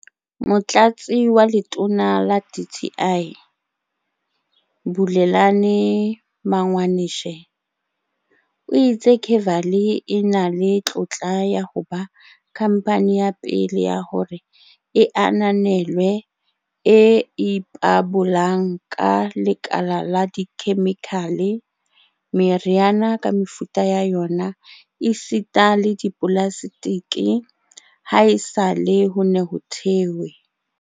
Motlatsi wa Letona la dti, Bulelani Magwanishe, o itse Kevali e na le tlotla ya ho ba khamphane ya pele ya hore e ananelwe e ipabolang ka lekala la dikhemikhale, meriana ka mefuta ya yona esita le dipolaseteke, haesale ho ne ho thehwe